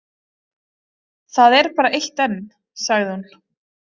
Það er bara eitt enn, sagði hún.